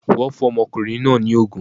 Wọn fún ọmọkùnrin náà ní ògùn